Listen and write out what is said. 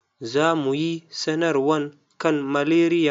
Za mu yi sanarwan kan malaria.